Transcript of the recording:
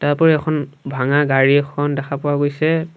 তাৰোপৰি এখন ভাঙা গাড়ী এখন দেখা পোৱা গৈছে।